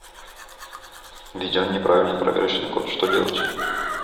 введен неправильный проверочный код что делать